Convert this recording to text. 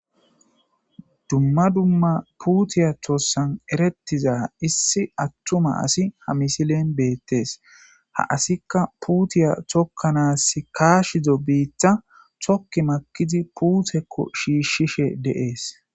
Dumma dumma putey tosan eretiza issi atuma asi ha misile betes ha asika putey tokanas kashizo bita toki makidi puteko shishishe de'es